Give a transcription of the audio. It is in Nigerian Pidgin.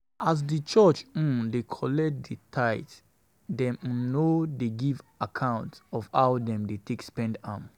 As di church um dey collect di tithe, dem um no um no um dey give account of how dem take dey spend di money